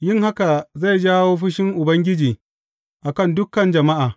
Yin haka zai jawo fushin Ubangiji a kan dukan jama’a.